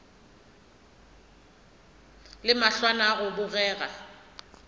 le mahlwana a go bogega